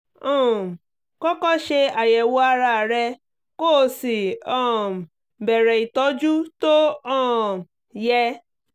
um kọ́kọ́ ṣe àyẹ̀wò ara rẹ kó o sì um bẹ̀rẹ̀ ìtọ́jú tó um yẹ